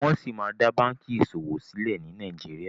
Wón sí má dá bánkì ìṣòwò silẹ ní Nàìjíríà.